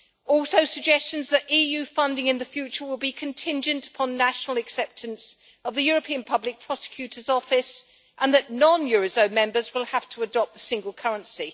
There are also suggestions that EU funding in the future will be contingent upon national acceptance of the European Public Prosecutor's Office and that non eurozone members will have to adopt the single currency.